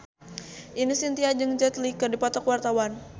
Ine Shintya jeung Jet Li keur dipoto ku wartawan